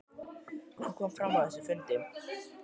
Sindri: Hvað kom fram á þessum fundi?